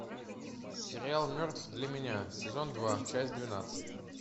сериал мертв для меня сезон два часть двенадцать